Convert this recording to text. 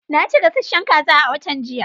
Na ci gasasshen kaza a watan jiya.